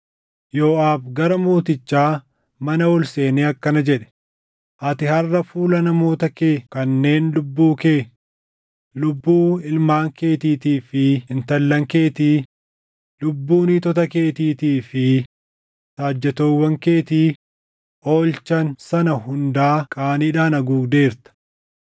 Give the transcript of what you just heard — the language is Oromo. Yooʼaab gara mootichaa mana ol seenee akkana jedhe; “Ati harʼa fuula namoota kee kanneen lubbuu kee, lubbuu ilmaan keetiitii fi intallan keetii, lubbuu niitota keetiitii fi saajjatoowwan keetii oolchan sana hundaa qaaniidhaan haguugdeerta.